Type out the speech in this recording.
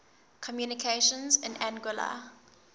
communications in anguilla